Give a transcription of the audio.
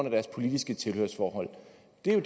jeg